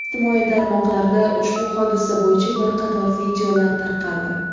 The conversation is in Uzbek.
Ijtimoiy tarmoqlarda ushbu hodisa bo‘yicha bir qator videolar tarqaldi.